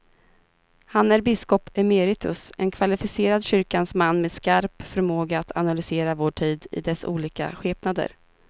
Han är biskop emeritus, en kvalificerad kyrkans man med skarp förmåga att analysera vår tid i dess olika skepnader.